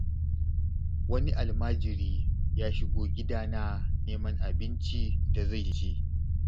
Wani almajiri ya shigo gidana neman abin da zai ci.